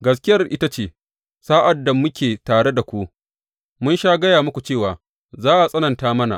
Gaskiyar ita ce, sa’ad da muke tare da ku, mun sha gaya muku cewa za a tsananta mana.